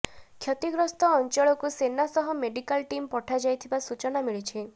କ୍ଷତିଗ୍ରସ୍ତ ଅଞ୍ଚଳକୁ ସେନା ସହ ମେଡିକାଲ ଟିମ୍ ପଠାଯାଇଥିବା ସୂଚନା ମିଳିଛି